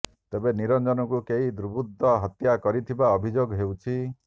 ତେବେ ନିରଞ୍ଜନଙ୍କୁ କେହି ଦୁବୃର୍ତ୍ତ ହତ୍ୟା କରିଥିବା ଅଭିଯୋଗ ହେଉଛି